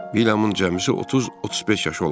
Vilyamın cəmisi 30-35 yaşı olardı.